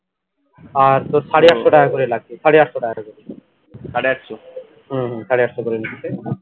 আর তোর সাড়ে আটশো টাকা করে লাগবে সাড়ে আটশো টাকা করে হুম হুম সাড়ে আটশো করে নিচ্ছে